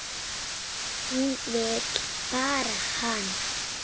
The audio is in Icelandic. Hún vill bera hana.